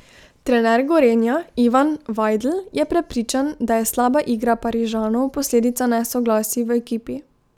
Trener Gorenja Ivan Vajdl je prepričan, da je slaba igra Parižanov posledica nesoglasij v ekipi.